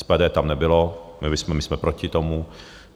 SPD tam nebylo, my jsme proti tomu.